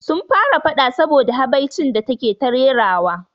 Sun fara faɗa saboda da habaicin da take ta rerawa